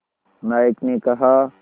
नायक ने कहा